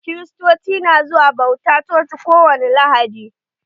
Kiriatoci na zuwa bauta a coci ko wani lahadi